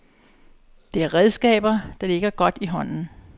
Det er redskaber, der ligger godt i hånden.